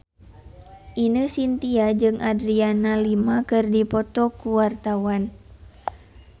Ine Shintya jeung Adriana Lima keur dipoto ku wartawan